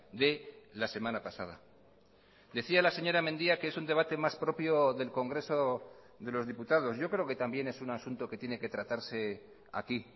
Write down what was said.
de la semana pasada decía la señora mendia que es un debate más propio del congreso de los diputados yo creo que también es un asunto que tiene que tratarse aquí